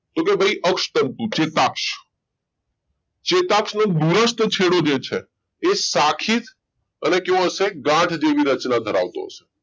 તો કે ભાઈ અક્ષ તંતુ ચેતાક્ષ ચેતાક્ષનો છેડો જે છે એ શાખિત અને કહેવાશે ગાંઠ જેવી રચના ધરાવતો હશે